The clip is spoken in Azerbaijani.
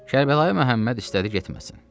Kərbəlayı Məhəmməd istədi getməsin.